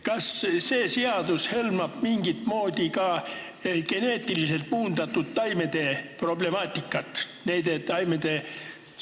Kas see seadus hõlmab mingit moodi ka geneetiliselt muundatud taimede problemaatikat?